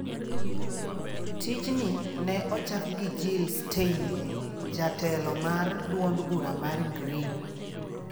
Tich ni ne ochak gi Jill Stein, jatelo mar duond bura mar Green.